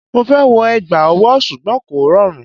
Mo fẹ́ wọ egbẹ́ awo ṣùgbọ́n kò rọrùn.